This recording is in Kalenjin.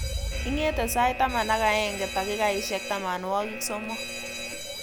Ingete sait taman ak eng ak takikaishek tamanwogik somok